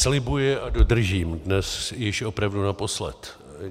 Slibuji a dodržím, dnes již opravdu naposled.